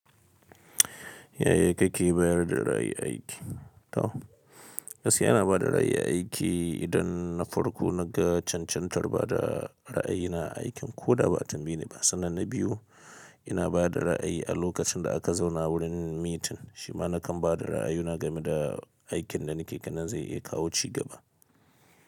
Yaya kake bayar da ra'ayi a aiki? To, gaskiya ina ba da ra'ayi a aiki idan na farko na ga cancantar ba da ra'ayina a aikin ko da ba tambaye ni ba. Sannan na biyu, ina ba da ra'ayi a lokacin da aka zauna wurin meeting. Shi ma na kan ba da ra'ayuna game da aikin da nake ganin zai iya kawo ci gaba.